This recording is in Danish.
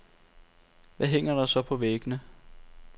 Hvad hænger der så på væggene?